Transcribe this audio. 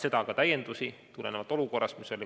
Seda on hiljem olenevalt olukorrast täiendatud.